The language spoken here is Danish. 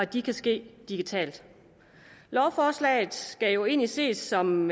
det kan ske digitalt lovforslaget skal jo egentlig ses som